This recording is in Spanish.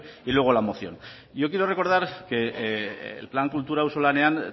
y luego la moción y yo quiero recordar que el plan kultura auzolanean